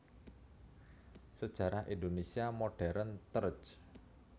Sejarah Indonésia Modern terj